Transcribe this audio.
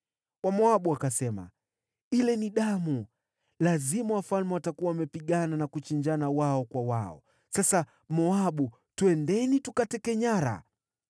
Wamoabu wakasema, “Ile ni damu! Lazima hao wafalme wamepigana na kuchinjana wao kwa wao. Sasa Moabu, twendeni tukateke nyara!”